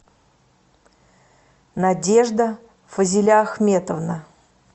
надежда фазиля ахметовна